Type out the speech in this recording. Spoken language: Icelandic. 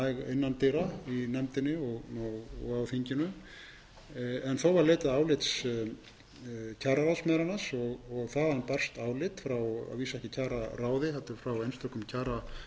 innan dyra í nefndinni og á þinginu þó var leitað álits kjararáðs meðal annars og þaðan barst álit frá að vísu ekki kjararáði heldur frá einstökum kjararáðsmönnum þremur af